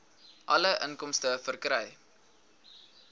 alle inkomste verkry